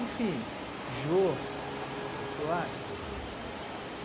Enfim, Jô, Jô Soares.